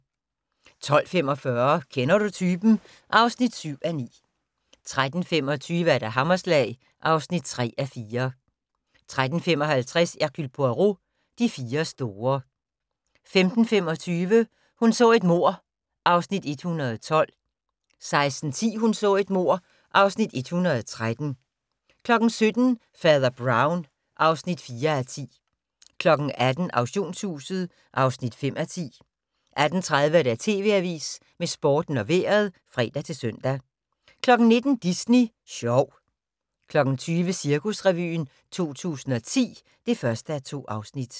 12:45: Kender du typen? (7:9) 13:25: Hammerslag (3:4) 13:55: Hercule Poirot: De fire store 15:25: Hun så et mord (Afs. 112) 16:10: Hun så et mord (Afs. 113) 17:00: Fader Brown (4:10) 18:00: Auktionshuset (5:10) 18:30: TV Avisen med Sporten og Vejret (fre-søn) 19:00: Disney Sjov 20:00: Cirkusrevyen 2010 (1:2)